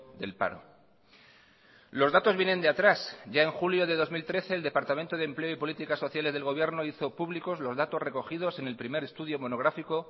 del paro los datos vienen de atrás ya en julio de dos mil trece el departamento de empleo y políticas sociales del gobierno hizo públicos los datos recogidos en el primer estudio monográfico